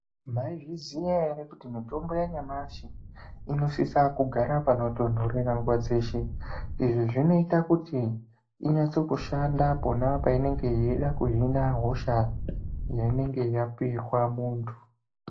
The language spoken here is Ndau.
Maizviziya ere kuti mitombo yanyamashi inosisa kugara panotonhorera nguwa dzeshe, izvi zvinoita kuti inyatse kushanda pona painenge yeida kuhina hosha yainenge yapirwa muntu.